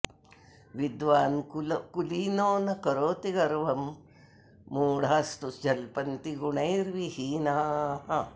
विद्वान् कुलीनो न करोति गर्वं मूधास्तु जल्पन्ति गुणैर्विहीनाः